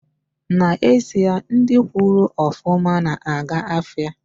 Na ezie, ndi gwuru ofuma na aga afia